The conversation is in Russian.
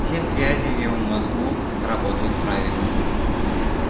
все связи в его мозгу работают правильно